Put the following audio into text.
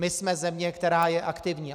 My jsme země, která je aktivní.